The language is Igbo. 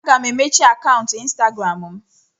Aga m emechi akaụntụ Instagram m.